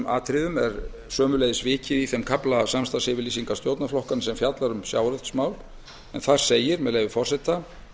atriðum er sömuleiðis vikið í þeim kafla samstarfsyfirlýsingar stjórnarflokkanna þar sem fjallað er um sjávarútvegsmál en þar segir með leyfi forseta